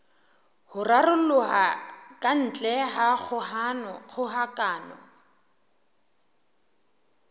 ho raroloha kantle ha kgokahano